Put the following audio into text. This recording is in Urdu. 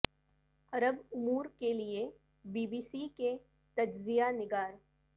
عرب امور کے لیے بی بی سی کے تجزیہ نگار